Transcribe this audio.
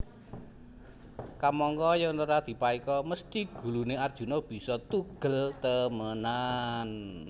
Kamangka yèn ora dipaéka mesthi guluné Arjuna bisa tugel temenan